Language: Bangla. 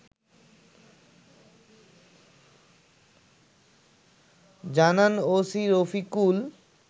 জানান ওসি রফিকুল